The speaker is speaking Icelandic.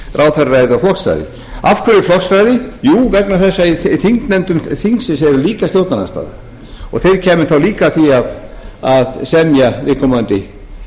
ráðherraræði og flokksræði af hverju flokksræði jú vegna þess að í þingnefndum þingsins er líka stjórnarandstaða og þeir kæmu þá líka að því að semja viðkomandi